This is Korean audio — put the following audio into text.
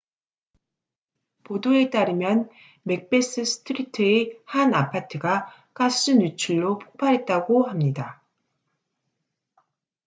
보도에 따르면 맥베스 스트리트의 한 아파트가 가스 누출로 폭발했다고 합니다